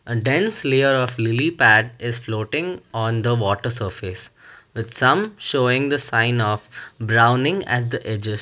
And dense layer of lily pad is floating on the water surface with some showing the sign of browning at the edges.